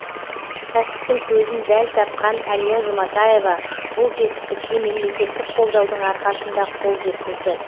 кәсіптің көзін дәл тапқан әлия жұматаева бұл жетістікке мемлекеттік қолдаудың арқасында қол жеткізді